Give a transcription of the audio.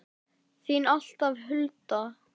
Þín alltaf, Hulda.